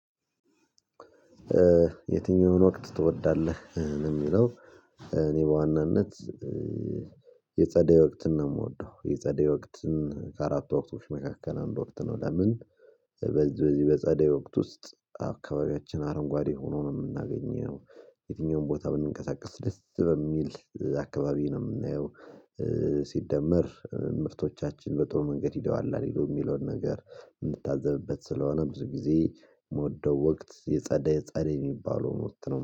የትኛውን ወቅት ትወዳለህ የሚለው? እኔ በዋናነት የጸደይ ወቅትን ነው የምወደው። የጸደይ ወቅትን ከአራቱ ወቅቶች መካከል አንድ ወቅት ነው ለምን? በዚህ በዚህ በጸደይ ወቅት ውስጥ አካባቢያችን አረንጓዴ ሆኖ ነው የምናገኘው። የትኛውም ቦታ ብንንቀሳቀስ ደስ በሚል አካባቢ ነው የምናየው። ሲደመር ምርቶቻችን በጥሩ መንገድ ሂደዋል አልሄዱም የሚለውን ነገር የምታዘብበት ስለሆነ ብዙ ጊዜ የምወደው ወቅት የጸደይ ጸደይ የሚባለው ወቅት ነው